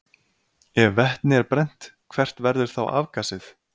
Ef vetni er brennt, hvert verður þá afgasið?